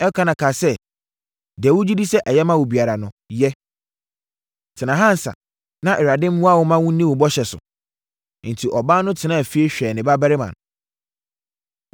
Elkana kaa sɛ, “Deɛ wogye di sɛ ɛyɛ ma wo biara no, yɛ. Tena ha ansa na Awurade mmoa wo mma wonni wo bɔhyɛ so.” Enti ɔbaa no tenaa fie hwɛɛ ne babarima no.